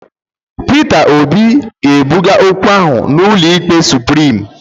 Pita Obi ga-ebuga okwu ahụ n'ụlọ ikpe Suprim.